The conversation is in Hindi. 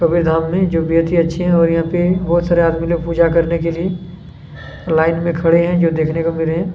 यहाँ पर बहती अच्छी हैबहुत सारा आदमी लोग है पूजा करने के लिए लाइन में जो खड़ा है देखने के लिए--